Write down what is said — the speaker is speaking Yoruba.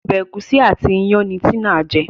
Ọbẹ̀ egusi àti iyán ní Tina jé